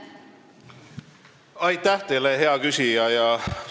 Aitäh teile, hea küsija!